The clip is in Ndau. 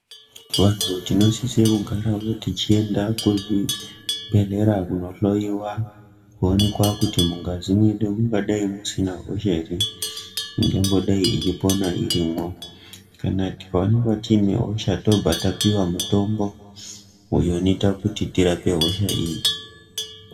Vantu tinosise kugara tichienda kuchibhedhlera kundohloyiwa kuonekwa kuti mungazi medu mungadai musina hosha here ingadai ichipona irimwo. Kana tikaonekwa tiine hosha, tobva tapiwe mutombo, uyo unoite kuti tirape hosha yi.